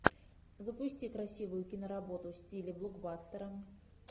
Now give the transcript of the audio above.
запусти красивую киноработу в стиле блокбастера